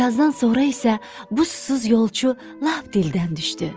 Bir azdan sonra isə bu susuz yolçu lap dildən düşdü.